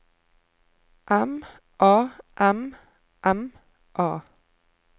M A M M A